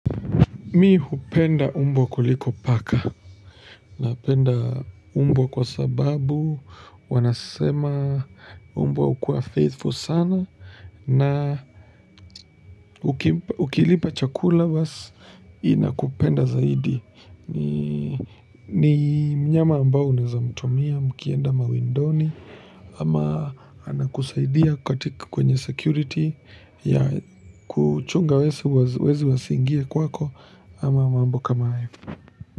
Mi hupenda mbwa kuliko paka, napenda mbwa kwa sababu, wanasema mbwa hukua faithful sana na ukilipa chakula basi inakupenda zaidi. Ni mnyama ambao unaeza mtumia, mkienda mawindoni ama anakusaidia katika kwenye security ya kuchunga wezi wasiingie kwako ama mambo kama hayo.